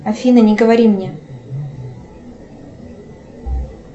афина не говори мне